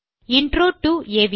intro டோ அவி